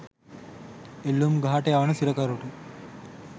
එල්ලූම් ගහට යවන සිරකරුට